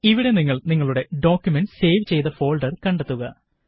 ഇവിടെ നിങ്ങള് നിങ്ങളുടെ ഡോക്കുമന്റ് സേവ് ചെയ്ത ഫോള്ഡര് കണ്ടെത്തുക